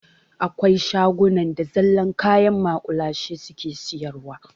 Akwai shagunan da zallar kayan maƙulashe suke siyarwa.